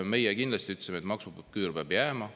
Meie kindlasti ütlesime, et maksuküür peab jääma.